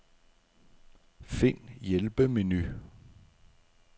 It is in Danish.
Find hjælpemenu.